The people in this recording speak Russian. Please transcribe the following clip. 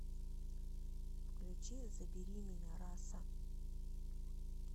включи забери меня раса